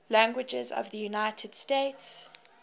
languages of the united states